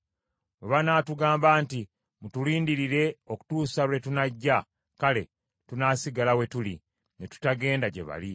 Bwe banaatugamba nti, ‘Mutulindirire okutuusa lwe tunajja,’ kale tunaasigala we tuli, ne tutagenda gye bali.